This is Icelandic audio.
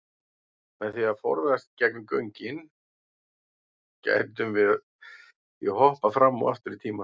Með því að ferðast gegnum göngin gætum við því hoppað fram og aftur í tíma.